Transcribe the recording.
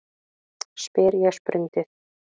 spyr ég sprundið.